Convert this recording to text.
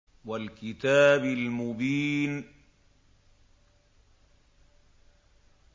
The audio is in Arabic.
وَالْكِتَابِ الْمُبِينِ